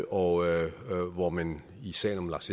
og hvor man i sagen om lars